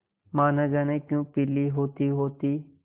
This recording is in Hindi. माँ न जाने क्यों पीली होतीहोती